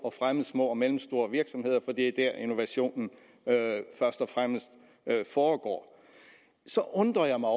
at fremme små og mellemstore virksomheder for det er der innovationen først og fremmest foregår så undrer jeg mig